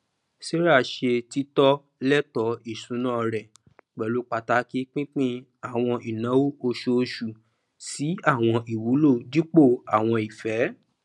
sarah ṣe títọ lẹtọ isúnà rẹ pẹlú pàtàkì pínpín àwọn ináwó oṣooṣu sí àwọn ìwúlò dípò àwọn ìfẹ